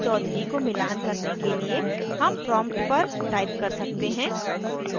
chaudhury को मिलान करने के लिए हम prompt पर type कर सकते हैं